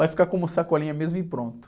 Vai ficar como Sacolinha mesmo e pronto.